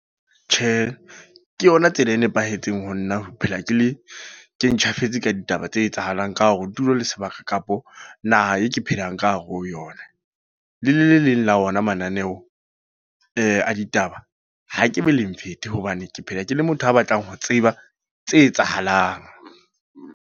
Tjhe, ke yona tsela e nepahetseng ho nna. Ho phela ke le, ke ntjhafetseng ka ditaba tse etsahalang ka hore tulo le sebaka, kapa naha e ke phelang ka hare ho yona. Le le leleng la ona mananeo a ditaba. Ha ke be leng fete, hobane ke phela ke le motho a batlang ho tseba tse etsahalang.